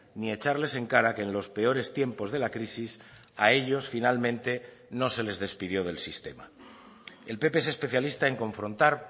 ni echarles en cara que en los peores tiempos de la crisis a ellos finalmente no se les despidió del sistema el pp es especialista en confrontar